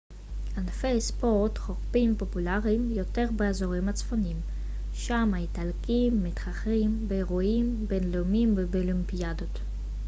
ענפי ספורט חורפיים פופולריים יותר באזורים הצפוניים שם האיטלקים מתחרים באירועים בינלאומיים ובאולימפיאדות